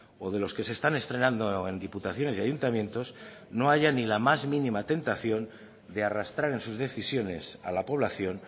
o de los que se están estrenando en diputaciones y ayuntamientos no haya ni la más mínima tentación de arrastrar en sus decisiones a la población